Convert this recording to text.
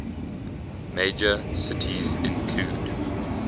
major cities include